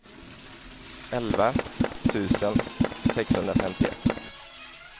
elva tusen sexhundrafemtioett